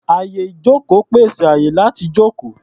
Àyè-ìjókòó pèsè àyè láti jókòó.